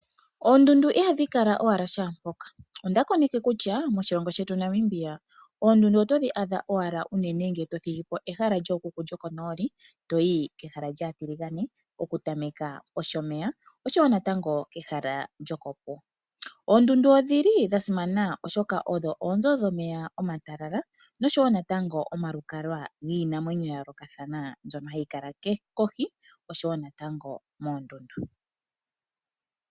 Oondundu ihadhi kala owala shaampoka onda koneke kutya moshilongo shetu Namibia oondundu oto dhi adha owala uuna to thigi po ehala lyokukuk lyo ko nooli toyi kehala lya tiligane okutameja pOshomeya oshowo koondundu ,oondundu odhili dha simana oshoka odho oonzo dhomeya omatalala oshowo natango omalukalwa giinamwenyo oyindji mbyoka hayi kala moondundu oshowo kohi.